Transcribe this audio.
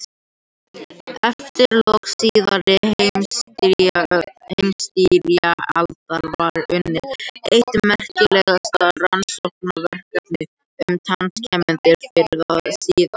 Eftir lok síðari heimsstyrjaldar var unnið eitt merkilegasta rannsóknarverkefni um tannskemmdir fyrr eða síðar.